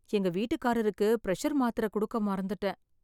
எங்க வீட்டுக்காரருக்கு பிரஷர் மாத்திர குடுக்க மறந்துட்டேன்.